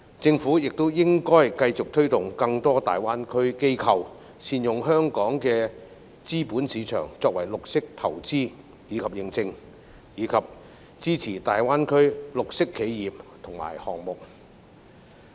政府也應繼續推動更多大灣區機構，善用香港的資本市場作為綠色投資及認證，以及支持大灣區綠色企業及項目。